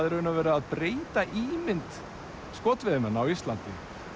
í raun og veru að breyta ímynd skotveiðimanna á Íslandi